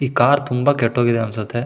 ಈ ಕಾರ್ ತುಂಬಾ ಕೆಟ್ ಹೋಗಿದೆ ಅನುಸತ್ತೆ.